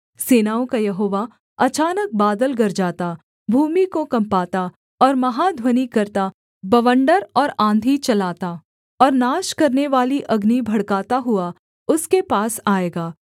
सेनाओं का यहोवा अचानक बादल गरजाता भूमि को कँपाता और महाध्वनि करता बवण्डर और आँधी चलाता और नाश करनेवाली अग्नि भड़काता हुआ उसके पास आएगा